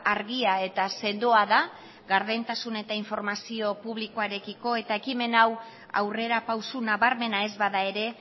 argia eta sendoa da gardentasuna eta informazio publikoarekiko eta ekimen hau aurrerapauso nabarmena ez bada ere